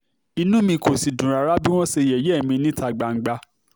inú mi kò sì dùn rárá sí bí wọ́n ṣe yẹ̀yẹ́ mi níta gbangba